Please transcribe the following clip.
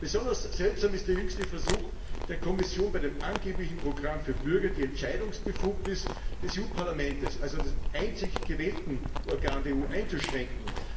Besonders seltsam ist der jüngste Versuch der Kommission, bei dem angeblichen Programm für Bürger die Entscheidungsbefugnis des EU Parlaments also des einzig gewählten Organs der EU einzuschränken.